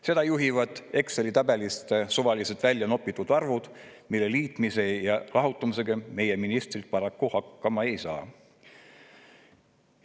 Seda juhivad Exceli tabelist suvaliselt välja nopitud arvud, mille liitmise ja lahutamisega meie ministrid paraku hakkama ei saa.